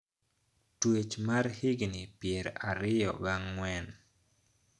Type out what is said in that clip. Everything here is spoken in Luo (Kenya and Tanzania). Twech mar higni pier ariyo ga ang`wen